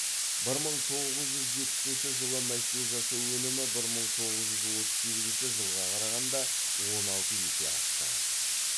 бір мың тоғыз жүз жетпісінші жылы мәшине жасау өнімі бір мың тоғыз жүз отыз сегізінші жылға қарағанда он алты есе артты